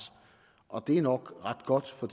og det er nok ret godt for